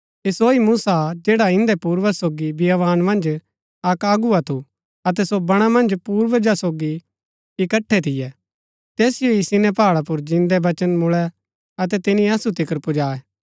ऐह सो ही मूसा हा जैड़ा इन्दै पूर्वजा सोगी बियावान मन्ज अक अगुवा थू अतै सो बणा मन्ज पूर्वजा सोगी इकट्ठै थियै तैसिओ ही सिनै पहाड़ा पुर जिन्दै वचन मुळै अतै तिनी असु तिकर पुजायै